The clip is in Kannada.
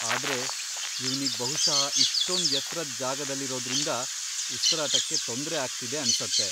ಆದ್ರೆ ಇವ್ನಿಗ್ ಬಹುಷಃ ಇಷ್ಟೊಂದ್ ಎತ್ರದ್ ಜಾಗದಲ್ಲಿರೋದ್ರಿಂದ ಉಸ್ರಾಟಕ್ಕೆ ತೊಂದ್ರೆ ಆಗ್ತಿದೆ ಅನ್ಸತ್ತೆ.